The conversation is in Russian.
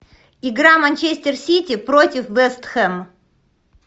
игра манчестер сити против вест хэм